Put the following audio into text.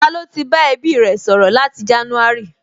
Ta ló ti bá ẹbí rẹ̀ sọ̀rọ̀ láti jánúárì?